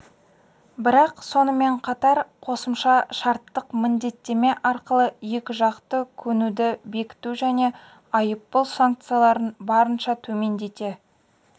бірақ сонымен қатар қосымша шарттық міндеттеме арқылы екіжақты көнуді бекіту және айыппұл санкцияларын барынша төмендете